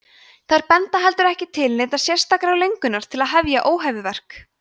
þær benda heldur ekki til neinnar sérstakrar löngunar til að fremja óhæfuverk